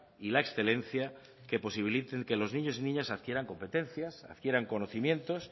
y la excelencia que posibilite que los niños adquieran competencias adquieran conocimientos